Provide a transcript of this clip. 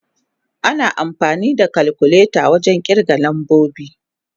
Ana amfani da kalkuleta wajen kirga lambobi.